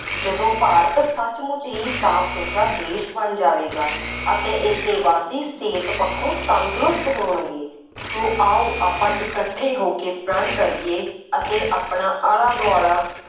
ਜਦੋਂ ਭਾਰਤ ਸੱਚਮੁੱਚ ਹੀ ਸਾਫ ਸੁਥਰਾ ਦੇਸ਼ ਬਣ ਜਾਵੇਗਾ ਅਤੇ ਇਸ ਦੇ ਵਾਸੀ ਸਿਹਤ ਪੱਖੋ ਤੰਦਰੁਸਤ ਹੋਣਗੇ। ਸੋ ਆਓ ਆਪਾਂ ਇਕੱਠੈ ਹੋ ਕੇ ਪ੍ਰਣ ਕਰੀਏ ਅਤੇ ਆਪਣਾ ਆਲਾ ਦੁਆਲਾ